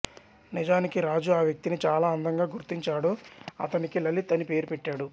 నిజానికి రాజు ఆ వ్యక్తిని చాలా అందంగా గుర్తించాడు అతనికి లలిత్ అని పేరు పెట్టాడు